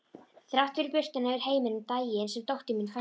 Þrátt fyrir birtuna yfir heiminum daginn sem dóttir mín fæddist.